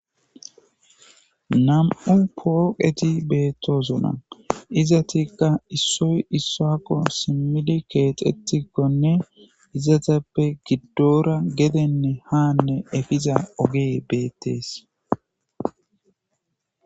nam7u pooqeti beettozona izatikka issoy issakko simili keexetikkonne izatappe giddora gedenne haanne efiza ogeey beettees